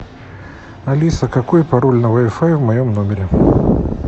алиса какой пароль на вай фай в моем номере